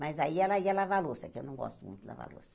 Mas aí ela ia lavar louça, que eu não gosto muito de lavar louça.